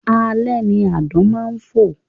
Alẹ́ ni àdán máa ń fò